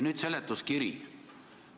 Edasi: seletuskiri.